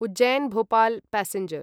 Ujjain Bhopal passenger